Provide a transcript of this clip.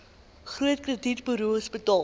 groot kredietburos betaal